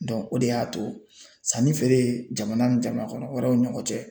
o de y'a to sanni feere jamana ni jamana kɔnɔ wɛrɛw ɲɔgɔn cɛ